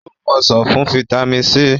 o mú ọsán fún vitamin c.